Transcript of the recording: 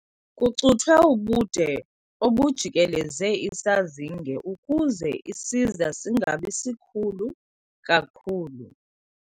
Kucuthwe ubude obujikeleze isazinge ukuze isiza singabi sikhulu kakhulu.